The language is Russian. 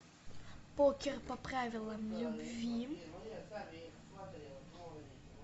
покер по правилам любви